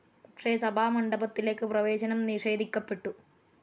പക്ഷെ സഭാമണ്ഡപത്തിലേക്ക് പ്രവേശനം നിഷേധിക്കപ്പെട്ടു.